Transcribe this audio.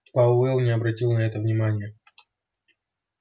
пауэлл не обратил на это внимания